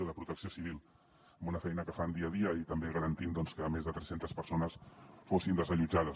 o de protecció civil amb una feina que fan dia a dia i també garantint doncs que més de tres centes persones fossin desallotjades